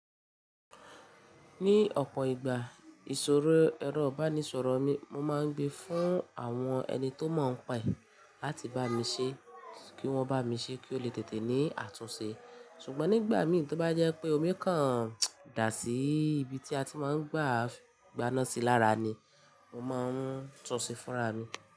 Ní ọ̀pọ̀ ìgbà ìṣòro ẹ̀rọ ìbánisọ̀rọ̀ mi, mo máa ń gbé fún àwọn ẹni tó mọ̀ ọ́n pa ẹ̀ láti bá mi ṣe kí wọ́n bá mi ṣe kí ó le tètè ní àtúnṣe. Ṣùgbọ́n nígbà mìí tó bá jẹ́ pé omi kan dà sí ibi tí a ti máa ń gbá gbá ná sí lára ni mo máa ń túnṣe fúnra mi.